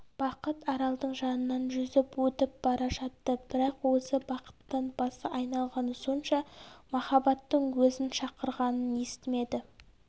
бақыт аралдың жанынан жүзіп өтіп бара жатты бірақ өзі бақыттан басы айналғаны сонша махаббаттың өзін шақырғанын естімеді